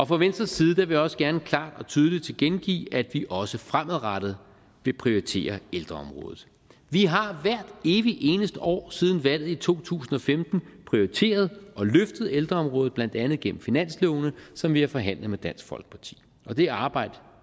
fra venstres side vil jeg også gerne klart og tydeligt tilkendegive at vi også fremadrettet vil prioritere ældreområdet vi har hvert evig eneste år siden valget i to tusind og femten prioriteret og løftet ældreområdet blandt andet gennem finanslovene som vi har forhandlet med dansk folkeparti og det arbejde